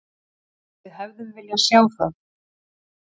Við hefðum viljað sjá það.